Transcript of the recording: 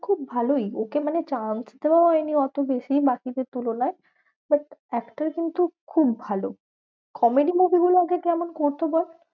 খুব ভালোই ওকে মানে chance তো এমনি অত বেশি বাকিদের তুলনায়। but actor কিন্তু খুব ভালো। comedy movie গুলো ওকে কেমন করতো বল?